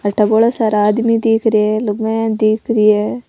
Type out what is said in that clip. अठे बौला सारा आदमी दिख रिया है लुगाईया दिख रही है।